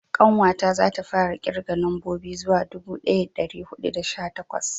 ƙanwa ta za ta fara kirga nambobi zuwa dubu daya da dari hudu da sha takwas